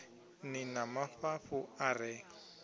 ni na mafhafhu a re